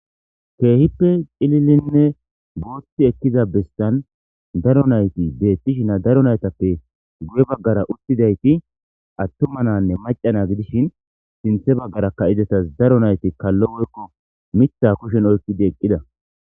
keehippe cililinne booththi ekkiza bestan daro nayti deettishina daro naytappe guye baggara uttidayti attuma nanne macana gidishin sinthe baggara ka7idetas daro nayti kallo woykko mitha kushen oykidi eqqida